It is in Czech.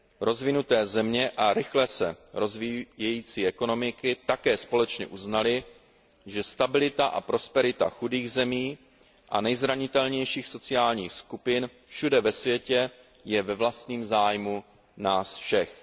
Rozvinuté země a rychle se rozvíjející ekonomiky také společně uznaly, že stabilita a prosperita chudých zemí a nejzranitelnějších sociálních skupin všude ve světě je ve vlastním zájmu nás všech.